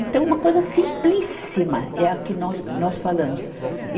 Então, uma coisa simplíssima, é a que nós, nós falamos. e